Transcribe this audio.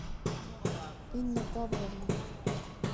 инна павловна